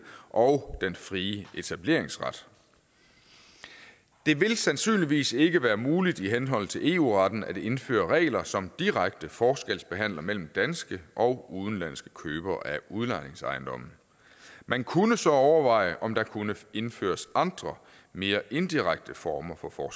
og den frie etableringsret det vil sandsynligvis ikke være muligt i henhold til eu retten at indføre regler som direkte forskelsbehandler mellem danske og udenlandske købere af udlejningsejendomme man kunne så overveje om der kunne indføres andre mere indirekte former for for